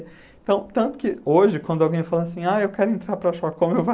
Então, tanto que hoje, quando alguém fala assim, ah, eu quero entrar para a Choca,